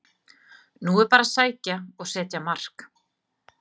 Nú er bara að sækja og setja mark!